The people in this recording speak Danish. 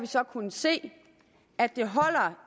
så kunnet se at det